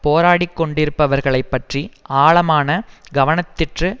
போராடிக் கொண்டிருப்பவர்களைப் பற்றி ஆளமான கவனத்திற்று